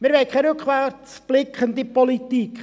Wir haben keine rückwärtsblickende Politik.